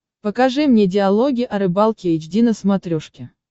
покажи мне диалоги о рыбалке эйч ди на смотрешке